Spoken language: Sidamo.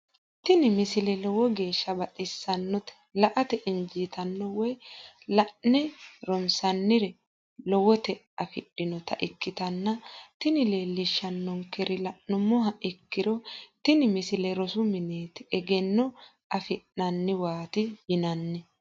tini misile lowo geeshsha baxissannote la"ate injiitanno woy la'ne ronsannire lowote afidhinota ikkitanna tini leellishshannonkeri la'nummoha ikkiro tini misile rosu mineeti egenno afi'nanniwaati yinanni.